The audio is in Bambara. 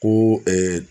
Ko